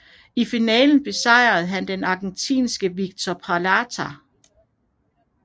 I finalen besejrede han argentinske Víctor Peralta